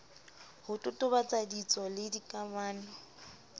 ho totobatsa ditso le dikamano